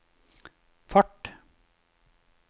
fart